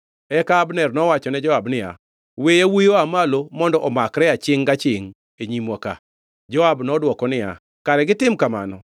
Eka Abner nowachone Joab niya, “We yawuowi oa malo mondo omakre achingʼ gachingʼ e nyimwa ka.” Joab nodwoko niya, “Kare gitim kamano.”